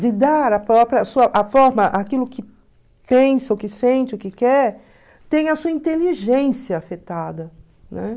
de dar a própria, a forma, aquilo que pensa, o que sente, o que quer, tem a sua inteligência afetada, né?